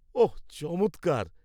ওহ, চমৎকার।